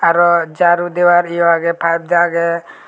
aro jaru deoar eyo agey pipe agey.